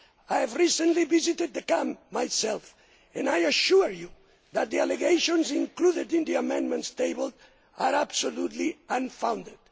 I recently visited the camp myself and I assure you that the allegations included in the amendments tabled are absolutely unfounded.